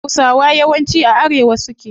Hausawa yawanci a arewa suke